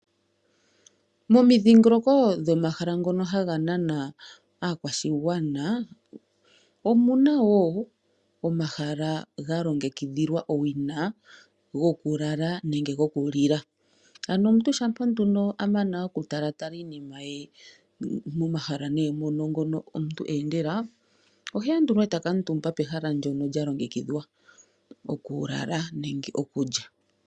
Momi dhingoloko go mahala ngono haga nana aakwashi gwana , omuna woo omahala ga longekidhilwa owina go kulala nenge go kulila. Ano omuntu shampa amana oku talatala iinima ye momahala ngono eendela, ohe endulwa eta thalwa pomahala ngaka ga longe kidhilwa okulala nenge okulya.